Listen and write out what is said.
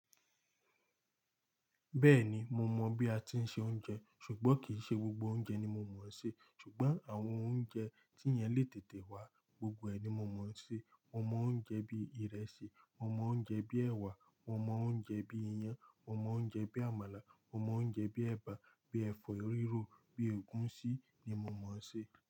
Bẹ́ẹ̀ni mo mọ̀ bí a ti ń se oúnjẹ, ṣùgbọ́n kì ṣe gbogbo oúnjẹ ni mo mọ̀n ṣe. Ṣùgbọ́n àwọn oúnjẹ tí èyan le tètè wá gbogbo ẹni mo mọ̀n ṣe. Mo mọ oúnjẹ bí ìrẹsì, mo mọ oúnjẹ bí ẹwà, mo mọ oúnjẹ bi iyán, mo mọ oúnjẹ bí àmàlà, mo mọ oúnjẹ bi ẹ̀bà, bi ẹ̀fọ́ rírò, bí ogùnṣí ni mo mọ̀ún ṣe.